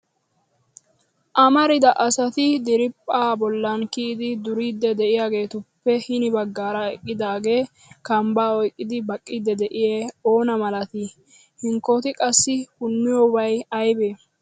Amarida asati draphpha bollan kiyyidi duriidi de'iyaagetuppe hin baggaara eqqidaagee kambba oyqqidi baqqiidi de'iyaa oona malatii? Hinkkoti qassi puniyoobay aybbe?